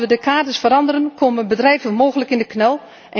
Als we de kaders veranderen, komen bedrijven mogelijk in de knel.